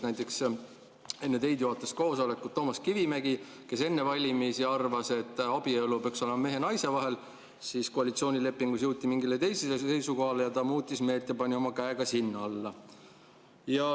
Enne teid juhatas koosolekut Toomas Kivimägi, kes enne valimisi arvas, et abielu peaks olema mehe ja naise vahel, kuid siis jõuti koalitsioonilepingus mingile teisele seisukohale ning ta muutis meelt ja pani oma käe ka sinna alla.